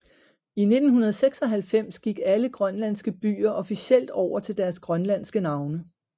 I 1996 gik alle grønlandske byer officielt over til deres grønlandske navne